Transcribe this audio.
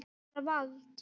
Bara vald.